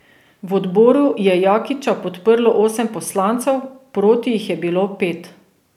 V odboru je Jakiča podprlo osem poslancev, proti jih je bilo pet.